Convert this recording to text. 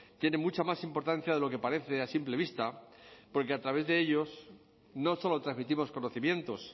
tiene mucha más importancia de lo que parece a simple vista porque a través de ellos no solo transmitimos conocimientos